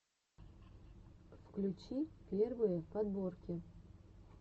включи первые подборки